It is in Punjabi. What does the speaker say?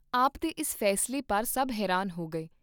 ਆਪ ਦੇ ਇਸ ਫੈਸਲੇ ਪਰ ਸਭ ਹੈਰਾਨ ਹੋ ਗਏ।